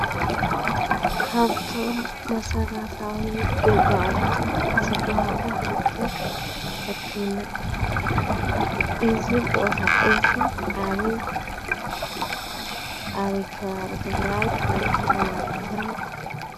ካፍቶም መሰረታዊ ግልጋሎት ዝበሃሉ ሓደ ሕክምና እዩ። እዚ ቦታ እዚ ኣበይ እዩ? ኣበይ ከባቢ ትግራይ ወይ ከተማ ትግራይ?